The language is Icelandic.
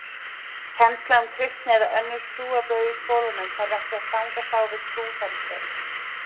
Kennsla um kristni eða önnur trúarbrögð í skólum þarf ekki að stangast á við trúfrelsi.